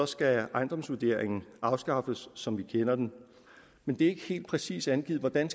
skal ejendomsvurderingen afskaffes som vi kender den men det er ikke helt præcist angivet hvordan